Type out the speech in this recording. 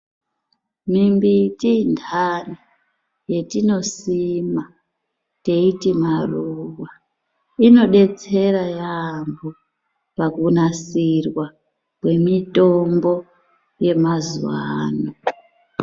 Mimbiti ntaa yatinosima teiti maruwa inodetsera yaambo pakunasirwa kwemitombo yemazuwaano.